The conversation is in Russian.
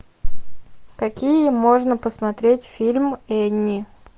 какие можно посмотреть фильм энни